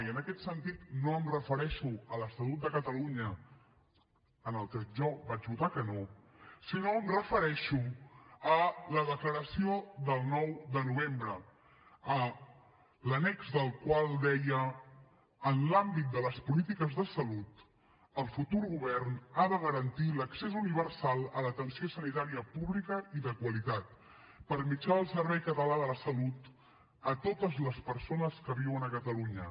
i en aquest sentit no em refereixo a l’estatut de catalunya a què jo vaig votar que no sinó que em refereixo a la declaració del nou de novembre l’annex de la qual deia en l’àmbit de les polítiques de salut el futur govern ha de garantir l’accés universal a l’atenció sanitària pública i de qualitat per mitjà del servei català de la salut a totes les persones que viuen a catalunya